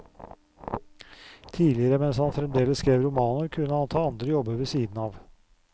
Tidligere mens han fremdeles skrev romaner, kunne han ta andre jobber ved siden av.